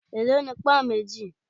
È ló ni pón méjì?